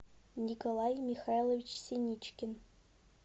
николай михайлович синичкин